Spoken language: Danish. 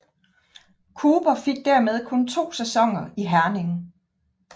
Cooper fik dermed kun to sæsoner i Herning